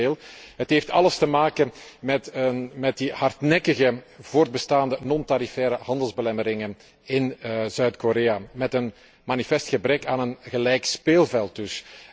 Integendeel, het heeft alles te maken met de hardnekkig voortbestaande niet tarifaire handelsbelemmeringen in Zuid Korea, met een manifest gebrek aan een gelijk speelveld dus.